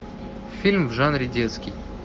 фильм в жанре детский